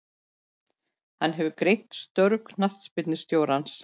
Hann hefur greint störf knattspyrnustjórans.